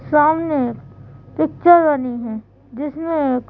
सामने एक पिक्चर बनी है जिसमें एक --